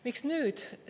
Miks nüüd?